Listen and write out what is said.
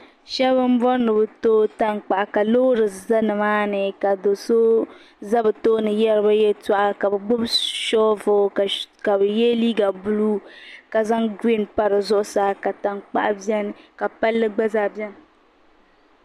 Shɛbi m bɔri ni bi tooi tankpaɣu ka loori za nimaa ni ka do so za bɛ tooni yariba yɛltɔɣa ka bi gbubi shoobuli ka bɛ ye liiga buluu ka zaŋ gireen pa di zuɣu saa ka tankpaɣu beni ka palli gba zaa bɛni.